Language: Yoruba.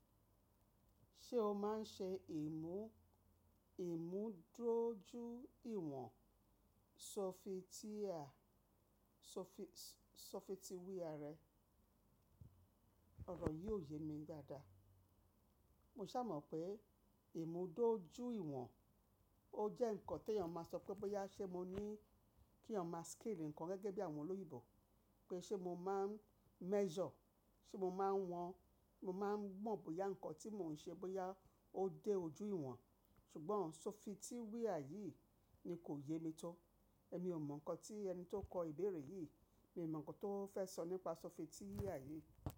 Ṣé o máa ń ṣe ìmú, ìmú dúró ju ìwọ̀n? So fi Sofitiwía rẹ, ọ̀rọ̀ yìí ò ye mi dáadáa. Mo sà mọ̀ pé ìmú doju ìwọ̀n ó jẹ́ ǹkan tí èèyàn máa sọ pé bọ́yá ṣé mo ní kí èèyàn máa scale ǹkan gẹ́gẹ́ bí àwọn olóyinbo pé ṣé mo máa ń measure, ṣé mo máa ń wọ́n, mo máa ń mọ bóyá ǹkan tí mò ń ṣe bóyá ó dé ojú ìwọ̀n. Ṣùgbọ́n sofitiwía yìí ni kò ye mi tó. Èmi ò mọ ǹkan tí ẹni tó kọ ìbéèrè yìí, mi ò mọ ǹkan tó fẹ́ sọ nípa sofitiwía yìí.